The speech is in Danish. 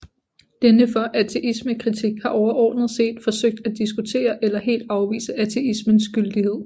Denne for ateismekritik har overordnet set forsøgt at diskutere eller helt afvise ateismens gyldighed